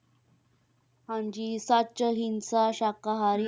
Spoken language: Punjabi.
ਹਾਂਜੀ ਸੱਚ ਅਹਿੰਸਾ ਸ਼ਾਕਾਹਾਰੀ,